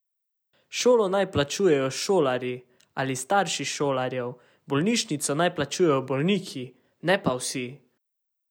Šolo naj plačujejo šolarji ali starši šolarjev, bolnišnico naj plačujejo bolniki, ne pa vsi.